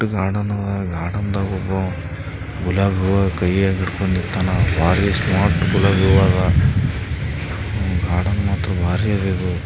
ದೊಡ್ಡ್ ಗಡರ್ನ್ ಅದ ಗಡರ್ನ್ ಒಬ್ಬ ಗುಲಾಬಿ ಹೂವ ಕೈಯಗ್ ಹಿಡ್ಕೊಂಡ್ ನಿತ್ತನ ಬಾರಿ ಸ್ಮಾರ್ಟ್ ಗುಲಾಬಿ ಹೂವ ಅದ ಗಾರ್ಡನ್ ಮಾತ್ರ ಬಾರಿ--